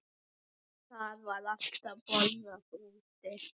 Það var alltaf borðað úti.